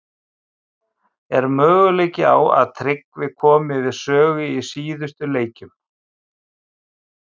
Er möguleiki á að Tryggvi komi við sögu í síðustu leikjunum?